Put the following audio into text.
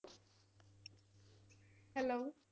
Hello